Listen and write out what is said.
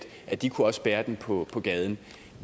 at de også kunne bære den på gaden